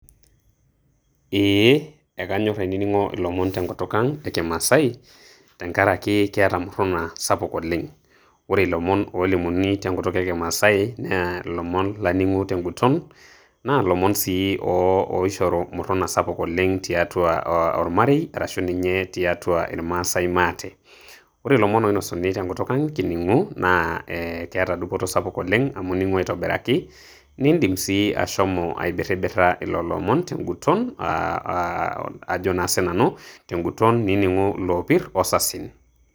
Eeh ekanyor ainining'o ilomon tenketuk ang' e kimaasai tenkaraki keeta murruna sapuk oleng'. Ore ilomon oolimuni tenkutuk ekimaasai na ilomon laning'u teguton, na lomon sii oishoru murruna sapuk oleng' tiatua ormarei arashu ninye tiatu irmaasai maate. Ore ilomon oinasuni tenkutuk ang' kining'u, na eh ekeeta dupoto sapuk oleng' amu ning'u aitobiraki, niidim sii ashomo aibirribirra lelo omon teguton ah ajo naa sinanu teguton nining'u iloopir o sasin.